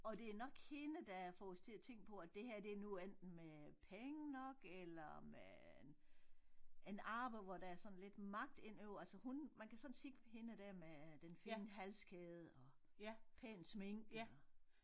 Og det nok hende der får os til at tænke på at det her det nogen enten med penge nok eller med en en arbejde hvor der er sådan lidt magt ind over altså hun man kan sådan se på hende dér med den fine halskæde og pæn sminke og